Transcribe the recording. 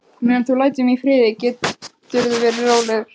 Meðan þú lætur mig í friði geturðu verið rólegur.